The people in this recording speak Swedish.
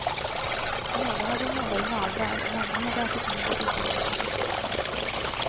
Någon hade målade naglar, en annan hade ätit middag tillsammans med sin pojkvän.